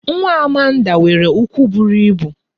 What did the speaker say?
Nwa Amanda nwere ụkwụ buru ibu